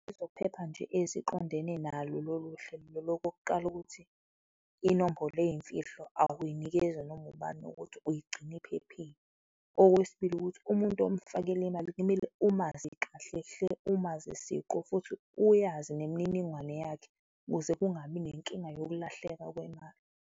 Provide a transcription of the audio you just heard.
Ezokuphepha nje eziqondene nalo lolu hlelo okokuqala, ukuthi inombolo izimfihlo, awuyinikezi noma ubani, ukuthi uyigcina ephephile. Okwesibili, ukuthi umuntu omufakela imali kumele umazi kahle hle, umazi siqu futhi uyiyazi nemininingwane yakhe ukuze kungabi nenkinga yokulahleka kwemali.